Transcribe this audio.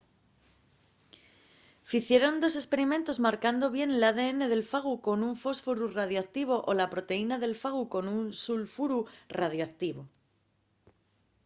ficieron dos esperimentos marcando bien l’adn del fagu con un fósforu radioactivo o la proteína del fagu con un sulfuru radioactivo